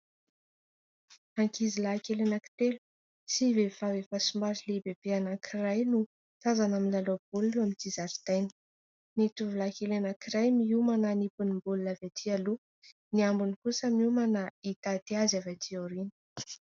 Ankizilahy kely anankitelo sy vehivavy efa somary lehibebe anankiray no tazana milalao baolina eo amin'ity zaridaina. Ny tovolahy kely anankiray miomana hanipy ny baolina avy aty aloha ; ny ambiny kosa miomana hitaty azy avy aty aoriana.